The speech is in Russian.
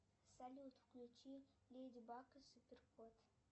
салют включи леди баг и супер кот